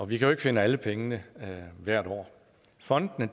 vi kan ikke finde alle pengene hvert år fondene